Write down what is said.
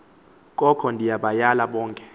koko ndibayale bonke